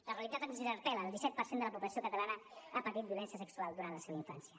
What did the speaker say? la realitat ens interpel·la el disset per cent de la població catalana ha patit violència sexual durant la seva infància